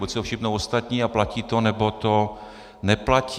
Buď si toho všimnou ostatní a platí to, nebo to neplatí.